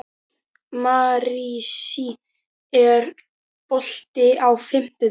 Marsý, er bolti á fimmtudaginn?